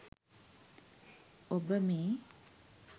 ඔබ මේ